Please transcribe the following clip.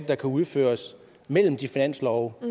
der kan udføres mellem de finanslove